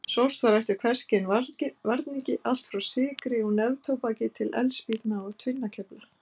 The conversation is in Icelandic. Sóst var eftir hvers kyns varningi, allt frá sykri og neftóbaki til eldspýtna og tvinnakefla.